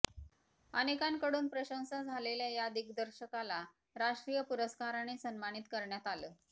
अनेकांनाकडून प्रशंसा झालेल्या या दिग्दर्शकाला राष्ट्रीय पुरस्काराने सन्मानित करण्यात आलं